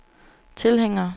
tilhængere